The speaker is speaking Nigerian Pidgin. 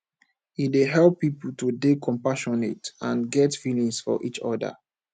e dey help pipo to dey compassionate and get feelings for each oda